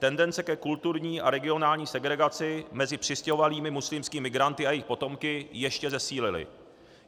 Tendence ke kulturní a regionální segregaci mezi přistěhovalými muslimskými migranty a jejich potomky ještě zesílily.